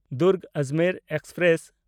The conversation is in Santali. ᱫᱩᱨᱜᱽ-ᱟᱡᱽᱢᱮᱨ ᱮᱠᱥᱯᱨᱮᱥ